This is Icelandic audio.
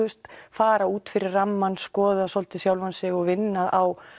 fara út fyrir rammann skoða svolítið sjálfan sig og vinna á